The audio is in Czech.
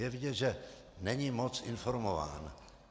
Je vidět, že není moc informován.